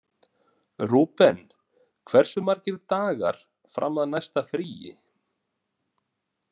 Rúben, hversu margir dagar fram að næsta fríi?